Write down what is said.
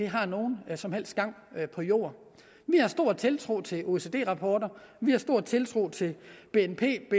har nogen som helst gang på jorden vi har stor tiltro til oecd rapporter vi har stor tiltro til bnp